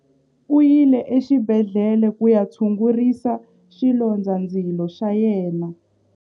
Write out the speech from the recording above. U yile exibedhlele ku ya tshungurisa xilondzandzilo xa yena.